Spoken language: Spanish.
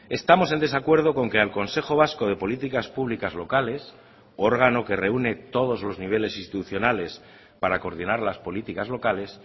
estamos en desacuerdo con que al consejo vasco de políticas públicas locales órgano que reúne todos los niveles institucionales para coordinar las políticas locales